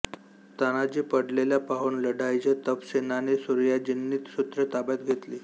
तानाजी पडलेला पाहून लढाईचे उपसेनानी सूर्याजींनी सुत्रे ताब्यात घेतली